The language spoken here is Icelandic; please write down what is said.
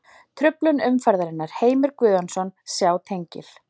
Truflun umferðarinnar: Heimir Guðjónsson Sjá tengil.